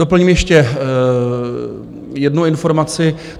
Doplním ještě jednu informaci.